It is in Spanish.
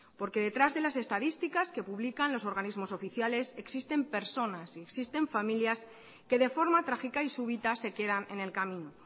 porque detrás de las estadísticas que publican los organismos oficiales existen personas y existen familias que de forma trágica y súbitas se quedan en el camino